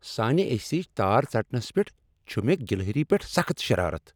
سانِہ اے سی یچ تار ژٹنس پیٹھ چِھ مےٚ گلہری پیٹھ سخت شرارت ۔